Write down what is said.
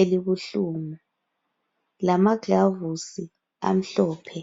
elibuhlungu lamagilavisi amhlophe.